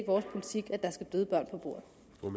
vores politik at der skal døde børn på bordet